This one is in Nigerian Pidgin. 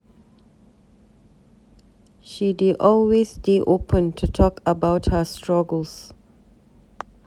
She dey always dey open to talk about her struggles.